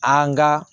An ka